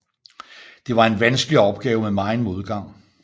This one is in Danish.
Det var en vanskelig opgave med meget modgang